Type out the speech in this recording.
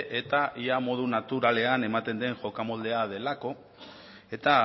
eta ia modu naturalean ematen den jokamoldea delako eta